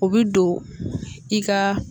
O bi don i ka